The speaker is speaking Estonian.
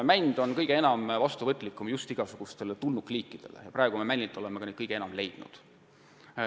Mänd on kõige enam vastuvõtlik igasugustele tulnukliikidele ja praegu oleme neid männilt ka kõige enam leidnud.